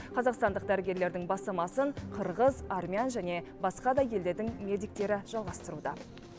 қазақстандық дәрігерлердің бастамасын қырғыз армян және басқа да елдердің медиктері жалғастыруда